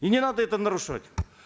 и не надо это нарушать